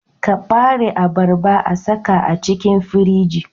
kabare abarba a saka a cikin firiji